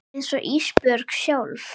Einsog Ísbjörg sjálf.